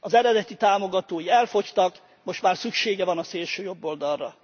Az eredeti támogatói elfogytak, most már szüksége van a szélsőjobboldalra.